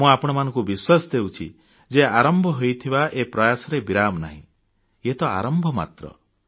ମୁଁ ଆପଣଙ୍କୁ ବିଶ୍ୱାସ ଦେଉଛି ଯେ ଆରମ୍ଭ ହୋଇଥିବା ଏ ପ୍ରୟାସରେ ବିରାମ ନାହିଁ ଇଏତ ଆରମ୍ଭ ମାତ୍ର